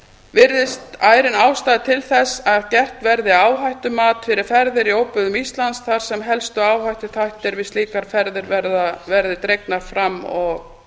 virðist ærin ástæða til þess að gert verði áhættumat fyrir ferðir í óbyggðum íslands þar sem helstu áhættuþættir við slíkar ferðir verði dregnir fram og